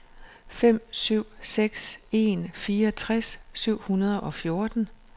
fem syv seks en fireogtres syv hundrede og fjorten